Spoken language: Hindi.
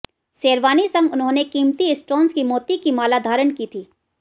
शेरवानी संग उन्होंने कीमती स्टोन्स और मोती की माला धारण की थी